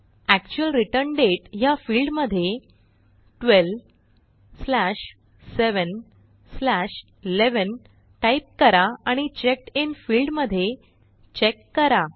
actual return दाते ह्या field मध्ये 12711 टाईप करा आणि चेकडिन फील्ड मध्ये चेक करा